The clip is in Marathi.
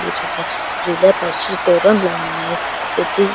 दिसत आहे झुल्या पाशी तोरण लाऊन आहे तेथी--